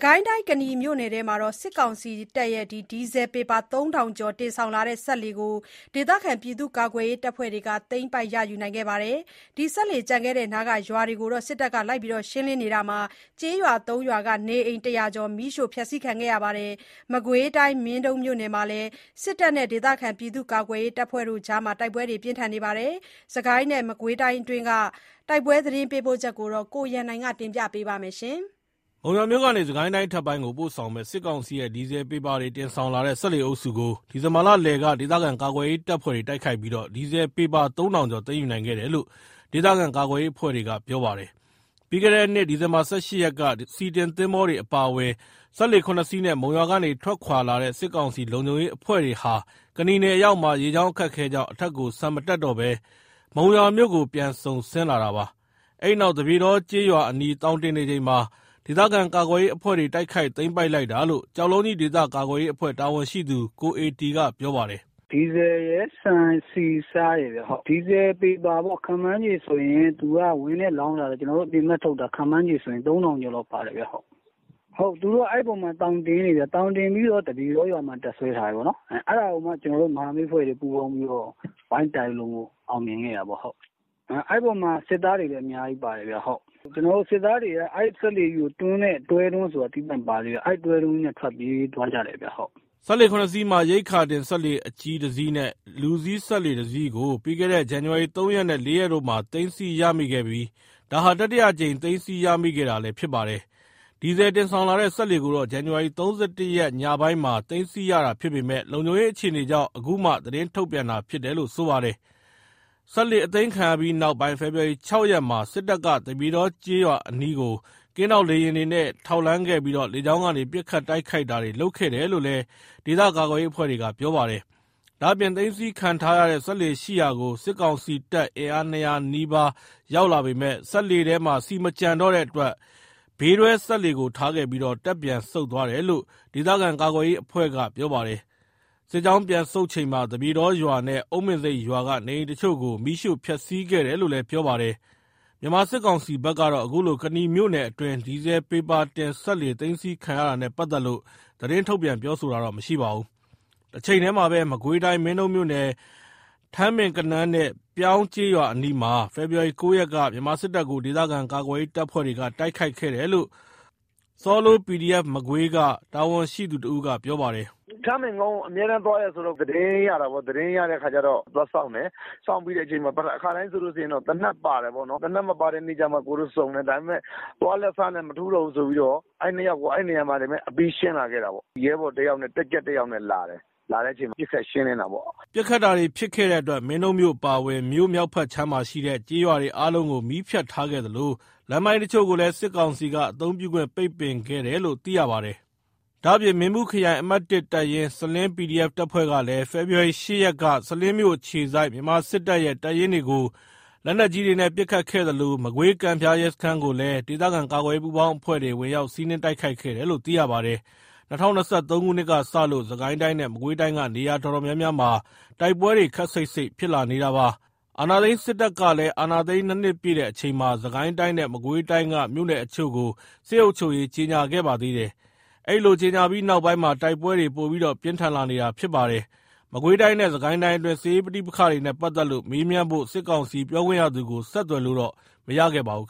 ကိုင်းတိုင်း ကနီမြို့နယ်မှာ စစ်ကောင်စီရဲ့ ဒီဇယ်ပေပါ ၃ ထောင်ကျော် တင်ဆောင်လာတဲ့ စက်လှေကို ဒေသခံကာကွယ်ရေးတပ်ဖွဲ့တွေက သိမ်းပိုက်ရယူခဲ့ပါတယ်။ ဒီစက်လှေကျန်ခဲ့တဲ့နားက ရွာတွေကို စစ်တပ်က ရှင်းလင်းတာမှာ ကျေးရွာ ၃ ရွာက နေအိမ် ၁၀၀ ကျော် မီးရှို့ခံခဲ့ရပါတယ်။ မကွေးတိုင်း မင်းတုန်းမြို့နယ်မှာလည် စစ်တပ်နဲ့ ဒေသခံကာကွယ်ရေးတပ်ဖွဲ့တွေ တိုက်ပွဲဖြစ်ခဲ့ပါတယ်။ စစ်ကိုင်းနဲ့ မကွေးတိုင်းတွင်းက တိုက်ပွဲသတင်းပေးပို့ချက်ကို ကိုရန်နိုင်က တင်ပြပါမယ်။ မုံရွာမြို့ကနေ စစ်ကိုင်းတိုင်းအထက်ပိုင်းကို ပို့ဆောင်မယ့် စစ်ကောင်စီရဲ့ ဒီဇယ်ပေပါတွေတင်ဆောင်လာတဲ့ စက်လှေအုပ်စုကို ဒီဇင်ဘာလလယ်ထဲက ဒေသခံကာကွယ်ရေးတပ်ဖွဲ့တိုက်ခိုက်ပြီး၊ ဒီဇယ်ပေပါ ၃ ထောင်ကျော် သိမ်းယူနိုင်ခဲ့တယ်လို့ ဒေသခံကာကွယ်ရေးအဖွဲ့က ပြောပါတယ်။ ပြီးခဲ့တဲ့ နှစ် ဒီဇင်ဘာ ၁၈ ရက်က ဆီတင်သင်္ဘောတွေအပါအဝင် စက်လှေ ၇ စီးနဲ့ မုံရွာကနေ ထွက်ခွာလာတဲ့ စစ်ကောင်စီလုံခြုံရေးအဖွဲ့တွေဟာ ကနီနယ်အရောက်မှာ ရေကြောင်း အခက်အခဲကြောင့် အထက်ကို ဆန်မတက်တော့ဘဲ မုံရွာမြို့ကို ပြန်စုန်ဆင်းလာတာပါ။ အဲဒီနောက် သပြေတော ကျေးရွာအနီး သောင်တင်နေချိန် ဒေသခံကာကွယ်ရေးအဖွဲ့တွေ တိုက်ခိုက်သိမ်းပိုက်လိုက်တာလို့ ကျောက်လုံးကြီးဒေသကာကွယ်ရေးအဖွဲ့တာဝန်ရှိသူ ကိုအေတီက ပြောပါတယ်။ “ဒီဇယ်ရယ် ဆန်ဆီဆားရယ် ဒီဇယ်ပေပါက ခန့်မှန်းခြေဆိုရင် သူက ဝင်းထဲ လှောင်ထားတာဆိုတော့ ကျွန်တော်တို့ အပြင်ဘက်ထုတ်တာ ခန့်မှန်းခြေဆို ၃ ထောင်ကျော်လောက်ပါတယ်။ သူတို့က အဲ့အပေါ်မှာ သောင်တင်နေတာ သောင်တင်ပြီးတော့ သပြေတောရွာမှာ တပ်စွဲထားတာ အဲ့ဒါကိုမှ မဟာမိတ်အဖွဲ့တွေက ပူးပေါင်းပြီး ဝိုင်းတိုက်လို့မို့လို့ အောင်မြင်ခဲ့တာပေါ့။ အဲ့အပေါ်မှာ စစ်သားတွေလည်း အများကြီးပါတယ်။ စစ်သားတွေက အဲ့စက်လှေကြီးကိုတွန်းတဲ့ တွဲသင်္ဘောဆိုတာ သီးသန့်ပါတယ် အဲ့တွဲသင်္ဘောနဲ့ ထွက်ပြေးသွားကြတယ်ခင်ဗျ။” စက်လှေ ၇ စီးမှာ ရိက္ခာတင် စက်လှေအကြီး ၁ စီးနဲ့ လူစီးစက်လှေ ၁ စီးကို ပြီးခဲ့တဲ့ ဇန်နဝါရီ ၃ ရက်နဲ့ ၄ ရက်တို့မှာ သိမ်းဆည်းရမိခဲ့ပြီး ဒါဟာ တတိယအကြိမ် သိမ်းဆည်းရမိခဲ့တာလည်း ဖြစ်ပါတယ်။ ဒီဇယ်တင်ဆောင်လာတဲ့ စက်လှေကိုတော့ ဇန်နဝါရီ ၃၁ ရက် ညပိုင်းမှာ သိမ်းဆည်းရတာဖြစ်ပေမယ့် လုံခြုံရေး အခြေအနေကြောင့် အခုမှ သတင်းထုတ်ပြန်တာ ဖြစ်တယ်လို့လည်း ဆိုပါတယ်။ စက်လှေအသိမ်းခံရပြီးနောက်ပိုင်း ဖေဖော်ဝါရီ ၆ ရက်မှာ စစ်တပ်က သပြေတော ကျေးရွာအနီးကို ကင်းထောက်လေယာဉ်တွေနဲ့ ထောက်လှမ်းခဲ့ပြီး လေကြောင်းကနေ ပစ်ခတ်တိုက်ခိုက်တာတွေ လုပ်ခဲ့တယ်လို့လည်း ဒေသကာကွယ်ရေးအဖွဲ့က ပြောပါတယ်။ ဒါ့အပြင် သိမ်းဆည်းခံထားရတဲ့ စက်လှေရှိရာကို စစ်ကောင်စီတပ် အင်အား ၂၀၀ နီးပါး ရောက်လာပေမယ့်၊ စက်လှေထဲ ဆီ မကျန်တော့တဲ့အတွက် ဘေးတွဲစက်လှေကို ထားခဲ့ပြီး တပ်ပြန်ဆုတ်သွားတယ်လို့ ဒေသခံကာကွယ်ရေးအဖွဲ့က ပြောပါတယ်။ စစ်ကြောင်းပြန်ဆုတ်ချိန်မှာ သပြေတောရွာနဲ့ အုန်းပင်ဆိပ်ရွာက နေအိမ်တချို့ကို မီးရှို့ဖျက်ဆီးခဲ့တယ်လို့လည်း ပြောပါတယ်။ မြန်မာစစ်ကောင်စီဖက်ကတော့ အခုလို ကနီမြို့နယ်တွင်း ဒီဇယ်ပေပါတင်စက်လှေ သိမ်းဆည်းခံရတာနဲ့ပတ်သက်လို့ သတင်းထုတ်ပြန်ပြောဆိုတာမရှိပါဘူး။ တချိန်တည်းမှာပဲ မကွေးတိုင်း မင်းတုန်းမြို့နယ် ထန်းပင်ကနန်းနဲ့ ပြောင်းကျေးရွာအနီမှာ ဖေဖော်ဝါရီ ၉ ရက်က မြန်မာစစ်တပ်ကို ဒေသခံကာကွယ်ရေး တပ်ဖွဲ့တွေက တိုက်ခိုက်ခဲ့တယ်လို့ Sallow PDF Magway က တာဝန်ရှိသူ တဦးက ပြောပြပါတယ်။ “ထန်းပင်ကုန်းကို အမြဲသွားတာ သတင်းရတာပေါ့။ သတင်းရတဲ့အခါကျတော့ သွားစောင့်တယ်။ စောင့်တဲ့အချိန်မှာ အခါတိုင်းဆို သေနတ်ပါတယ်ပေါ့။ သေနတ်မပါတဲ့နေ့မှဆုံတယ်။ ဒါပေမယ့် သွားလက်စနဲ့မထူးဘူးဆိုပြီး အဲ့နေရာမှာရှင်းလာခဲ့တယ်။ ရဲဘော်တယောက်နဲ့ တပ်ကြပ်တယောက်လာတယ်။ လာတဲ့အချိန်မှာ ပစ်ခတ်ရှင်းလင်းတာပေါ့။” ပစ်ခတ်တာတွေဖြစ်ခဲ့တဲ့အတွက် မင်းတုန်းမြို့အပါအဝင် မြို့မြောက်ဖက်ခြမ်းမှာရှိတဲ့ ကျေးရွာတွေအားလုံးကို မီးဖြတ်ထားခဲ့သလို၊ လမ်းပိုင်းတချို့ကိုလည်း စစ်ကောင်စီက အသုံးပြုခွင့် ပိတ်ပင်ခဲ့တယ်လို့ သိရပါတယ်။ ဒါ့အပြင် မင်းဘူးခရိုင် အမှတ် တပ်ရင်း စလင်း PDF တပ်ဖွဲ့ကလည်း ဖေဖော်ဝါရီ ၈ ရက်က စလင်းမြို့အခြေစိုက် မြန်မာစစ်တပ်ရဲ့ တပ်ရင်းတွေကို လက်နက်ကြီးတွေနဲ့ ပစ်ခတ်ခဲ့သလို မကွေးကံဖျားရဲစခန်းကိုလည်း ဒေသခံကာကွယ်ရေးပူးပေါင်းအဖွဲ့တွေ ဝင်ရောက်စီးနင်းတိုက်ခိုက်တယ်လို့ သိရပါတယ်။ ၂၀၂၃ ခုနှစ်ကလို့ စစ်ကိုင်းတိုင်းနဲ့ မကွေးတိုင်းက နေရာတော်တော်များများမှာ တိုက်ပွဲတွေ ခပ်စိပ်စိပ်ဖြစ်လာနေတာပါ။ အာဏာသိမ်းစစ်တပ်ကလည်း အာဏာသိမ်းတဲ့ ၂ နှစ်ပြည့်တဲ့အချိန်မှာ စစ်ကိုင်းတိုင်းနဲ့ မကွေးတိုင်းက မြို့နယ်အချို့ကို စစ်အုပ်ချုပ်ရေးကြေငြာခဲ့ပါသေးတယ်။ အဲ့ဒီလို ကြေငြာပြီးနောက်ပိုင်းမှာ တိုက်ပွဲတွေ ပိုပြီးပြင်းထန်လာနေတာပါ။ မကွေးတိုင်းနဲ့ စစ်ကိုင်းတိုင်းအတွင်း စစ်ရေးပဋိပက္ခတွေနဲ့ ပတ်သက်လို့ မေးမြန်းဖို့၊ စစ်ကောင်စီပြောခွင့်ရသူကို ဆက်သွယ်လို့ မရခဲ့ပါဘူး